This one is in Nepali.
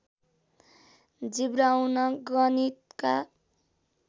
जिब्राउन गणितका